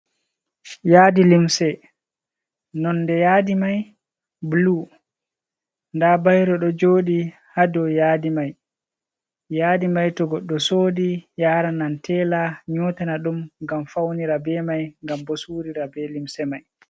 Yaadi limse, nonde yaadi mai bulu, nda bairo ɗo joɗi ha dow yaadi mai, yaadi mai to goɗɗo sodi yaranan tela nyotana ɗum gam faunira be mai gam bo surira be limse mai.